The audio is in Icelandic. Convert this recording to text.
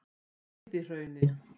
Víðihrauni